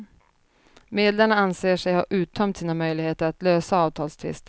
Medlarna anser sig ha uttömt sina möjligheter att lösa avtalstvisten.